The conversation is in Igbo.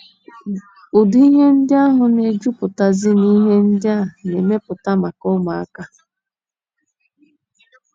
Ụdị ihe ndị ahụ na - ejupụtazi n’ihe ndị a na - emepụta maka ụmụaka.